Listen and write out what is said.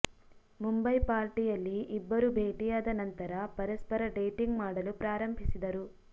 ಮುಂಬೈ ಪಾರ್ಟಿಯಲ್ಲಿ ಇಬ್ಬರೂ ಭೇಟಿಯಾದ ನಂತರ ಪರಸ್ಪರ ಡೇಟಿಂಗ್ ಮಾಡಲು ಪ್ರಾರಂಭಿಸಿದರು